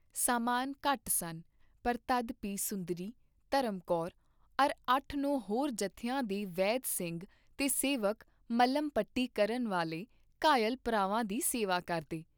ਸਾਮਾਨ ਘੱਟ ਸਨ, ਪਰ ਤਦ ਭੀ ਸੁੰਦਰੀ, ਧਰਮ ਕੌਰ ਅਰ ਅੱਠ ਨੌ ਹੋਰ ਜਥਿਆਂ ਦੇ ਵੈਦ ਸਿੰਘ ਤੇ ਸੇਵਕ ਮਲ੍ਹਮਪਟੀ ਕਰਨ ਵਾਲੇ ਘਾਇਲ ਭਰਾਵਾਂ ਦੀ ਸੇਵਾ ਕਰਦੇ ।